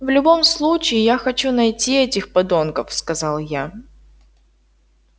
в любом случае я хочу найти этих подонков сказал я